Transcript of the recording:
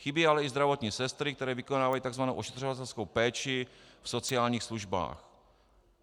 Chybí ale i zdravotní sestry, které vykonávají tzv. ošetřovatelskou péči v sociálních službách.